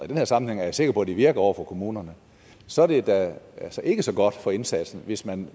den her sammenhæng er jeg sikker på at de virker over for kommunerne så er det da ikke så godt for indsatsen hvis man